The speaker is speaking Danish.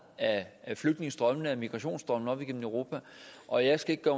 af flygtningestrømmene og migrationsstrømmene op igennem europa og jeg skal ikke